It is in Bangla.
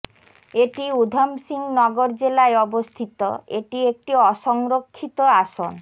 এটি উধমসিং নগর জেলায় অবস্থিত এটি একটি অসংরক্ষিত আসন